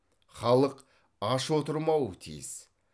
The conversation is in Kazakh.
халық аш отырмауы тиіс